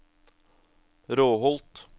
Råholt